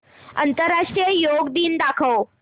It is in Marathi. आंतरराष्ट्रीय योग दिन दाखव